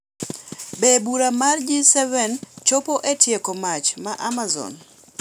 Be bura mar G7 biro chopo e tieko mach ma Amazon ?